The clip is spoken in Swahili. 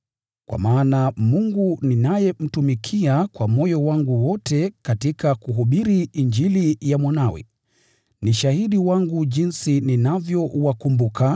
Kwa maana Mungu ninayemtumikia kwa moyo wangu wote katika kuhubiri Injili ya Mwanawe, ni shahidi wangu jinsi ninavyowakumbuka